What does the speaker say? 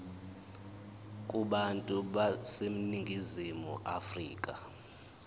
kubantu baseningizimu afrika